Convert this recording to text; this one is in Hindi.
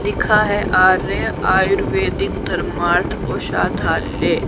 लिखा है आर्या आयुर्वेदिक धर्मार्थ औषधालय।